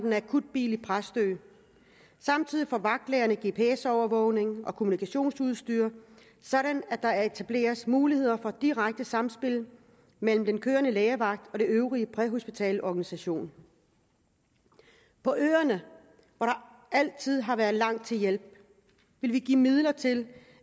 en akutbil i præstø samtidig får vagtlægerne gps overvågning og kommunikationsudstyr så der etableres muligheder for direkte samspil mellem den kørende lægevagt og den øvrige præhospitale organisation på øerne hvor der altid har været langt til hjælp vil vi give midler til